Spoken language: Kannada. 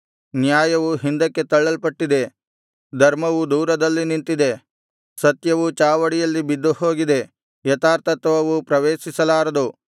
ನ್ಯಾಯವು ಹಿಂದಕ್ಕೆ ತಳ್ಳಲ್ಪಟ್ಟಿದೆ ಧರ್ಮವು ದೂರದಲ್ಲಿ ನಿಂತಿದೆ ಸತ್ಯವು ಚಾವಡಿಯಲ್ಲಿ ಬಿದ್ದುಹೋಗಿದೆ ಯಥಾರ್ಥತ್ವವು ಪ್ರವೇಶಿಸಲಾರದು